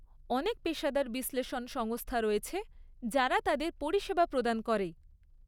অনেক পেশাদার বিশ্লেষণ সংস্থা রয়েছে যারা তাদের পরিষেবা প্রদান করে।